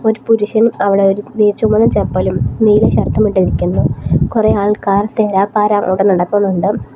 ഒരു പുരുഷൻ അവിടെ ഒരു നീ ചുമന്ന ചപ്പലും നീല ഷർട്ടുമിട്ട് ഇരിക്കുന്നു കുറെ ആൾക്കാർ തേരാപ്പാരാ അവിടെ നടക്കുന്നുണ്ട്.